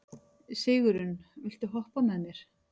Sigurunn, viltu hoppa með mér?